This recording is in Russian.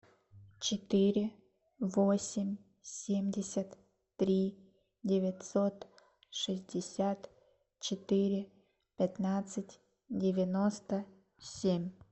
четыре восемь семьдесят три девятьсот шестьдесят четыре пятнадцать девяносто семь